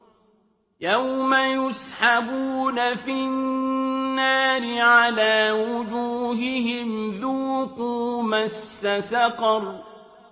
يَوْمَ يُسْحَبُونَ فِي النَّارِ عَلَىٰ وُجُوهِهِمْ ذُوقُوا مَسَّ سَقَرَ